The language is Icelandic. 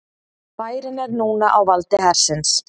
Bærinn er núna á valdi hersins